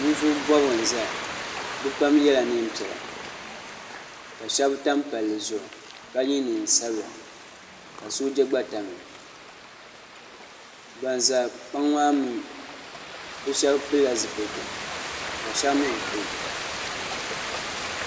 nivuɣibɔgu n zaya be pam nyɛla nɛnpiɛlla ka shɛbi tam pali zuɣ' ka yɛ nɛnsabila ka soja gba tamiya ban za kpaŋa maa mi be shɛbi pɛlila zupɛlitɛ ka shɛba mi be pɛli